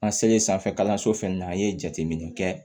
An selen sanfɛ kalanso fɛnɛ na an ye jateminɛ kɛ